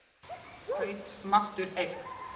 Kaupmáttur eykst